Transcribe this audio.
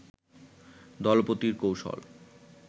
দলপতির কৌশল